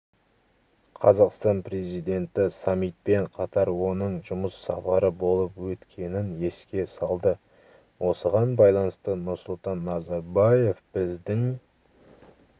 қазақстан президенті саммитпен қатар оның жұмыс сапары болып өткенін еске салды осыған байланысты нұрсұлтан назарбаев біздің